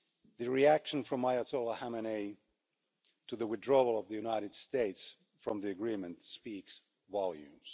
The reaction from Ayatollah Khamenei to the withdrawal of the United States from the agreement speaks volumes.